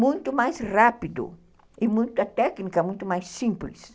Muito mais rápido e a técnica muito mais simples.